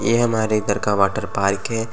ये हमारे घर का वाटरपार्क है।